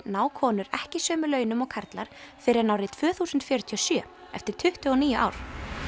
ná konur ekki sömu launum og karlar fyrr en árið tvö þúsund fjörutíu og sjö eftir tuttugu og níu ár